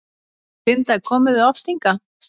Linda: Komið þið oft hingað?